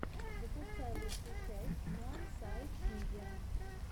запускай лучшую часть уансайдмидиа